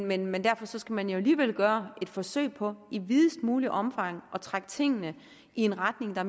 men men derfor skal man alligevel gøre et forsøg på i videst muligt omfang at trække tingene i en retning der